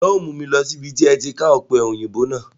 Ǹjẹ́ o mu mi lọ síbi tí ẹ ti ká Ọpẹ́yinbo náà?